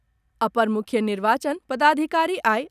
अपर मुख्य निर्वाचन पदाधिकारी आई